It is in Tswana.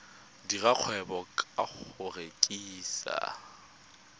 dira kgwebo ka go rekisa